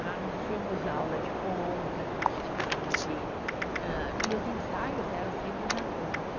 Ah, nós tínhamos aula de ponta, a gente tinha aula de hã, e os ensaios eram sempre na ponta.